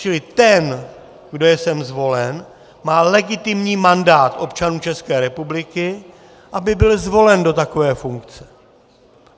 Čili ten, kdo je sem zvolen, má legitimní mandát občanů České republiky, aby byl zvolen do takové funkce.